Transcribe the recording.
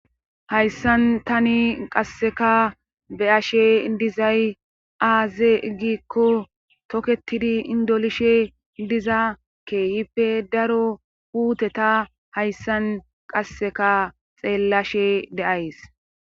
Hayssan tani qasseka be7ashe dizay aaze giikko toketidi indolishe diza keeyippe daro puuteta hayssan qasseka xeellashe de7ays.